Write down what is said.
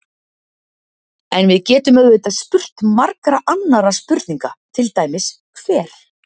En við getum auðvitað spurt margra annarra spurninga, til dæmis: Hver?